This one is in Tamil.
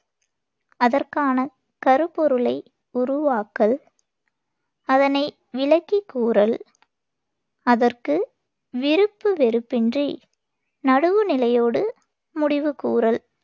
அதற்கான கருப்பொருளை உருவாக்கல், அதனை விளக்கிக் கூறல், அதற்கு விருப்பு வெறுப்பின்றி நடுவுநிலையோடு முடிவு கூறல்